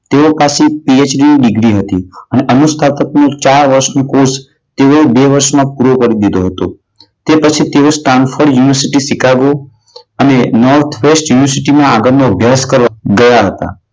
તેઓ પાસે PhD ની ડિગ્રી હતી અને અનુસ્થાપકની બાર વર્ષ નો course તેઓ એ બે વર્ષમાં પૂરો કરી દીધો હતો. તે પછી તેઓ સ્ટેનફોર્ડ યુનીવર્સીટી સીકાગો અને નોર્થ વેસ્ટ યુનીવર્સીટી માં આગળ નો અભ્યાસ કરવા ગયા હતા.